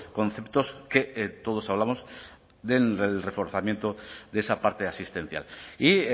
conceptos que todos hablamos del reforzamiento de esa parte asistencial y